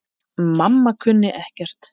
Hver dró þetta upp?